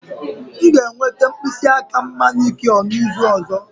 M ga-enweta mkpịsị aka m manicure n'izu ọzọ